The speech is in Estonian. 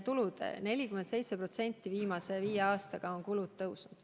Kulud on 47% viimase viie aastaga kasvanud.